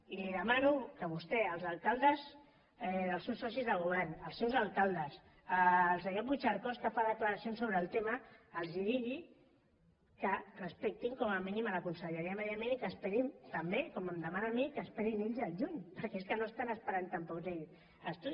i li demano que vostè els alcaldes dels seus socis de govern els seus alcaldes el senyor puigcercós que fa declaracions sobre el tema els digui que respectin com a mínim la conselleria de medi ambient i que esperin també com em demana a mi que esperin ells al juny perquè és que no estan esperant tampoc ells